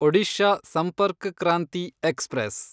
Odisha Sampark Kranti express